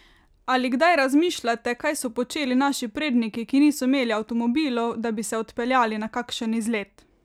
Ali kdaj razmišljate, kaj so počeli naši predniki, ki niso imeli avtomobilov, da bi se odpeljali na kakšen izlet?